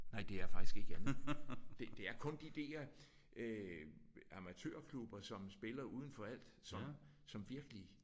Nej det er faktisk ikke andet. Det det er kun de der øh amatørklubber som spiller udenfor alt som som virkelig